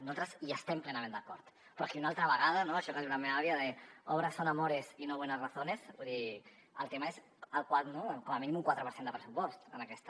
nosaltres hi estem plenament d’acord però aquí una altra vegada no això que diu la meva àvia de obras son amores y no buenas razones vull dir el tema és com a mínim un quatre per cent de pressupost en aquesta